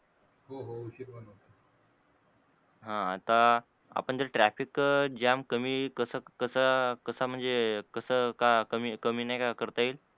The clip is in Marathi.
ह तर आता traffic jam कमी कस कस कस म्हणजे कस का कमी नाही का करता येईल?